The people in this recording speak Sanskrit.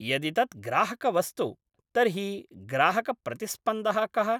यदि तत् ग्राहकवस्तु, तर्हि ग्राहकप्रतिस्पन्दः कः?